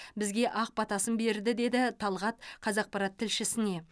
бізге ақ батасын берді деді талғат қазақпарат тілшісіне